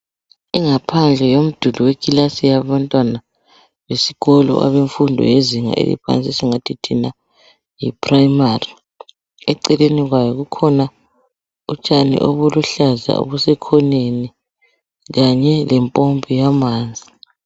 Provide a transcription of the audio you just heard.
Ingaphandle yomduli wekilasi yabantwana, isikolo, abemfundo, yezinga eliphansi. Esingathi thina, yiprimary. Ekhoneni kwayo, kukhona utshani obusekhoneni. Lempompi yamanzi.